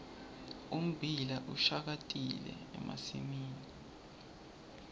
ummbila ushakatile emasimini